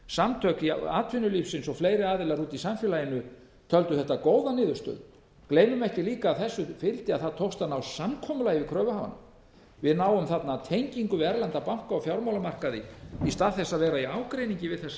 þessu hér samtök atvinnulífsins og fleiri aðilar úti í samfélaginu töldu þetta góða niðurstöðu gleymum ekki líka að þessu fylgdi að það tókst að ná samkomulagi við kröfuhafana við náum þarna tengingu við erlenda banka á fjármálamarkaði í stað þess að vera í ágreiningi við þessa